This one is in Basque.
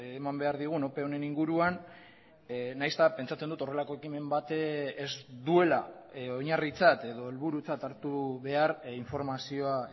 eman behar digun ope honen inguruan nahiz eta pentsatzen dut horrelako ekimen bat ez duela oinarritzat edo helburutzat hartu behar informazioa